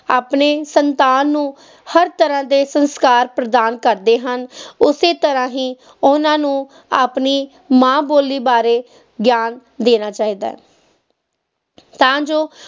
ਆਪਣੇ ਸੰਤਾਨ ਨੂੰ ਹਰ ਤਰ੍ਹਾਂ ਦੇ ਸੰਸਕਾਰ ਪ੍ਰਦਾਨ ਕਰਦੇ ਹਨ, ਉਸੇ ਤਰ੍ਹਾਂ ਹੀ ਉਹਨਾਂ ਨੂੰ ਆਪਣੀ ਮਾਂ ਬੋਲੀ ਬਾਰੇ ਗਿਆਨ ਦੇਣਾ ਚਾਹੀਦਾ ਹੈ ਤਾਂ ਜੋ